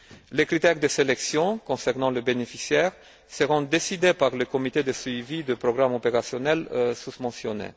Les critères de sélection concernant le bénéficiaire seront décidés par le comité de suivi du programme opérationnel susmentionné.